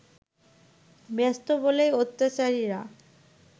ব্যস্ত বলেই অত্যাচারীরা